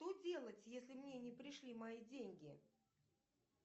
что делать если мне не пришли мои деньги